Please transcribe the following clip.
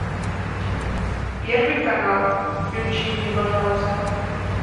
первый канал включи мне пожалуйста